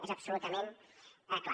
és absolutament clar